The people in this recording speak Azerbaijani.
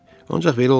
Ancaq belə olmadı.